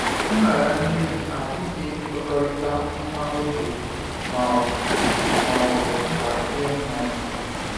Nraranye gị abụghị nkwekọrịta nwa oge ma ọ ma ọ bụ nkwa nye mmadụ.